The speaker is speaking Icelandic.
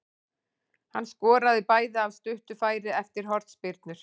Hann skoraði bæði af stuttu færi eftir hornspyrnur.